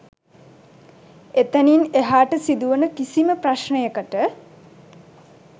එතැනින් එහාට සිදුවන කිසිම ප්‍රශ්නයකට